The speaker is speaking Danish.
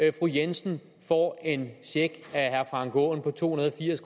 at fru jensen får en check af herre frank aaen på to hundrede og firs